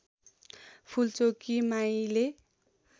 Phulchoki माईले